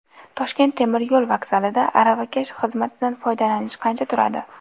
Toshkent temir yo‘l vokzalida aravakash xizmatidan foydalanish qancha turadi?.